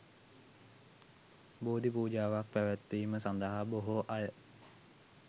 බෝධි පූජාවක් පැවැත්වීම සඳහා බොහෝ අය